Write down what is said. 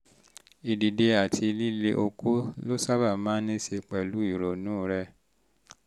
ìdìde àti líle okó ló sábà máa ń ní í ṣe pẹ̀lú ìrònú rẹ